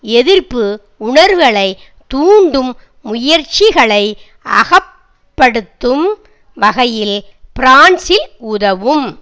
எதிர்ப்பு உணர்வுகளை தூண்டும் முயற்சிகளை அகப்படுத்தும் வகையில் பிரான்சில் உதவும்